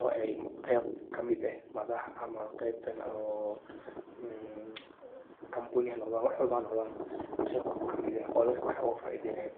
oo ay qeyb kamid eh madhax ama qeybtan oo kambuniyaha noqdan wax walbo hanoqdana qeyb kamiid eh oo dadka wax ufaidheynaya.